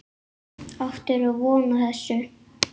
Áttirðu von á þessu?